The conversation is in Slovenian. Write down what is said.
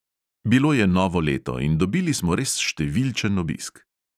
Bilo je novo leto in dobili smo res številčen obisk.